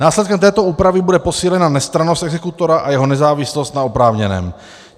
Následkem této úpravy bude posílena nestrannost exekutora a jeho nezávislost na oprávněném.